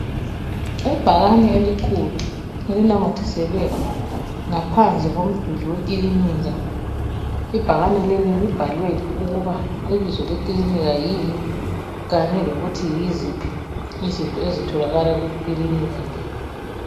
Ibhakane elikhulu elinamathiselwe ngaphandle komduli we kilinika, ibhakane leli libhaliwe ukuba ibizo lekilinika yini kanye lokuthi yiziphi izinto ezitholakala kukilinika le.